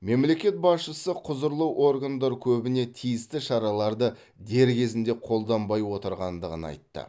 мемлекет басшысы құзырлы органдар көбіне тиісті шараларды дер кезінде қолданбай отырғандығын айтты